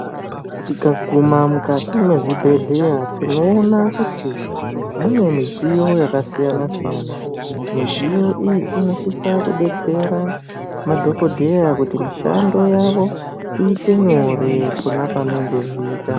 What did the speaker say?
Tikaguma mukati mezvibhehleya tinoona kuti mune midziyo yakasiyana siyana. Midziyo iyi inosisa kudetsera madhokodheya kuti mishando yavo iite nyore pona pavanenge veiita.